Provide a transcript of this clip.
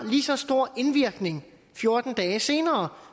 lige så stor indvirkning fjorten dage senere